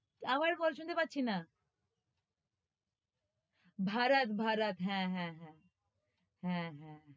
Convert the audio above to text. আবার বল, শুনতে পাচ্ছি না ভরত, ভরত, হ্যাঁ, হ্যাঁ, হ্যাঁ হ্যাঁ, হ্যাঁ,